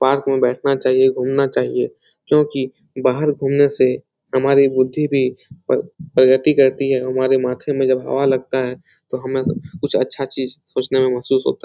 Park में बैठना चाहिए घूमना चाहिए क्योंकि बाहर घुमने से हमारी बुद्धि भी पर प्रगति करती है हमारे माथे में जब हवा लगता है तो हमे कुछ अच्छा चीज सोचने में महसूस होता है।